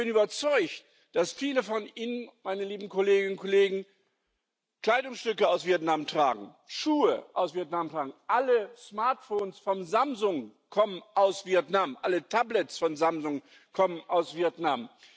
Ich bin überzeugt, dass viele von Ihnen, meine lieben Kolleginnen und Kollegen, Kleidungsstücke aus Vietnam tragen, Schuhe aus Vietnam tragen, alle Smartphones von Samsung kommen aus Vietnam, alle Tablets von Samsung kommen aus Vietnam.